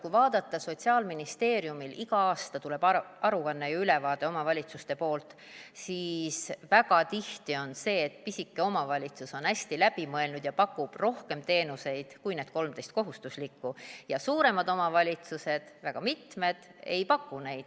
Kui vaadata – Sotsiaalministeeriumile tuleb iga aasta aruanne, ülevaade omavalitsuste poolt, – siis väga tihti on see, et pisike omavalitsus on hästi läbi mõelnud ja pakub rohkem teenuseid kui need 13 kohustuslikku ja väga mitmed suuremad omavalitsused ei paku neid.